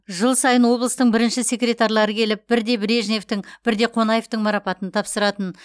жыл сайын облыстың бірінші секретарлары келіп бірде брежневтің бірде қонаевтың марапатын тапсыратын